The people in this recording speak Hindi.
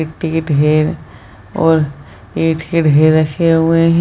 एक तो ये ढेर और ये ढेर है रखे हुए है ।